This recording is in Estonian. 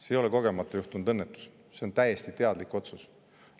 See ei ole kogemata juhtunud õnnetus, see on täiesti teadlik otsus.